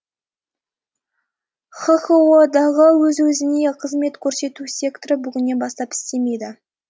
хқко дағы өз өізне қызмет көрсету секторы бүгіннен бастап істемейді